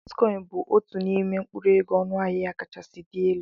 Bitikọin bụ otu n'ime mkpụrụ ego ọnụ ahịa ya kachasị dị elu.